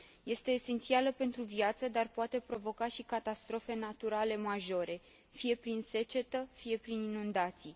Este esențială pentru viață, dar poate provoca și catastrofe naturale majore, fie prin secetă, fie prin inundații.